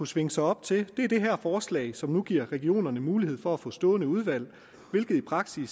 svinge sig op til er det her forslag som nu giver regionerne mulighed for at få stående udvalg hvilket